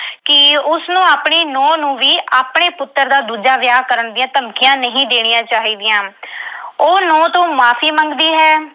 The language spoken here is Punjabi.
ਕਿ ਉਸਨੂੰ ਆਪਣੀ ਨੂੰਹ ਨੂੰ ਵੀ ਆਪਣੇ ਪੁੱਤਰ ਦਾ ਦੂਜਾ ਵਿਆਹ ਕਰਨ ਦੀਆਂ ਧਮਕੀਆਂ ਨਹੀਂ ਦੇਣੀਆਂ ਚਾਹੀਦੀਆਂ। ਉਹ ਨੂੰਹ ਤੋਂ ਮੁਆਫ਼ੀ ਮੰਗਦੀ ਹੈ।